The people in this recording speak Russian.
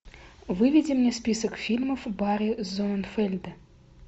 выведи мне список фильмов барри зонненфельда